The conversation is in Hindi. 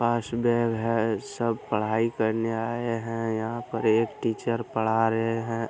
पास बैग है। सब पढ़ाई करने आये हैं। यहाँ पर एक टीचर पढ़ा रहे हैं।